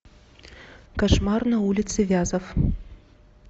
кошмар на улице вязов